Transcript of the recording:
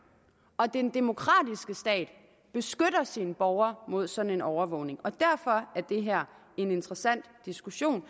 den demokratiske stat beskytter sine borgere mod sådan en overvågning og derfor er det her en interessant diskussion